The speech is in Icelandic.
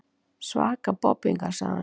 Svaka bobbingar, sagði hann.